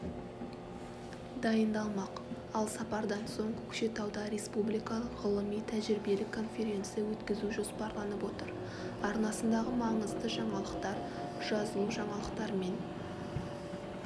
дайындалмақ ал сапардан соң көкшетауда республикалық ғылыми-тәжірибелік конференция өткізу жоспарланып отыр арнасындағы маңызды жаңалықтар жазылужаңалықтармен